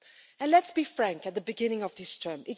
And let's be frank at the beginning of this term.